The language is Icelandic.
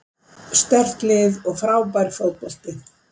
Sterkt lið og frábær fótbolti.